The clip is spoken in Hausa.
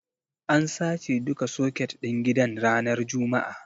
An sace duka soket ɗin gidan ranar juma'a.